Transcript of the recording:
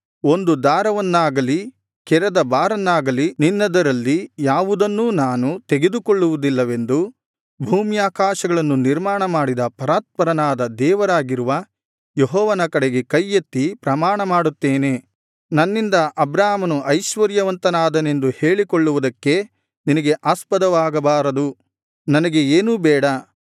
ಒಂದು ದಾರವನ್ನಾಗಲಿ ಕೆರದ ಬಾರನ್ನಾಗಲಿ ನಿನ್ನದರಲ್ಲಿ ಯಾವುದನ್ನೂ ನಾನು ತೆಗೆದುಕೊಳ್ಳುವುದಿಲ್ಲವೆಂದು ಭೂಮ್ಯಾಕಾಶಗಳನ್ನು ನಿರ್ಮಾಣಮಾಡಿದ ಪರಾತ್ಪರನಾದ ದೇವರಾಗಿರುವ ಯೆಹೋವನ ಕಡೆಗೆ ಕೈ ಎತ್ತಿ ಪ್ರಮಾಣಮಾಡುತ್ತೇನೆ ನನ್ನಿಂದ ಅಬ್ರಾಮನು ಐಶ್ವರ್ಯವಂತನಾದನೆಂದು ಹೇಳಿಕೊಳ್ಳುವುದಕ್ಕೆ ನಿನಗೆ ಆಸ್ಪದವಾಗಬಾರದು ನನಗೆ ಏನೂ ಬೇಡ